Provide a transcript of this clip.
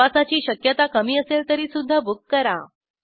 प्रवासाची शक्यता कमी असेल तरी सुदधा बुक करा